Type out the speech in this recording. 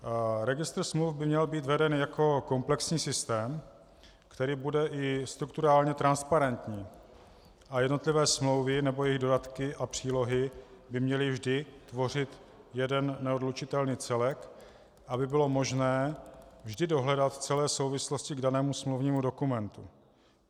Registr smluv by měl být veden jako komplexní systém, který bude i strukturálně transparentní, a jednotlivé smlouvy nebo jejich dodatky a přílohy by měly vždy tvořit jeden neodlučitelný celek, aby bylo možné vždy dohledat celé souvislosti k danému smluvnímu dokumentu.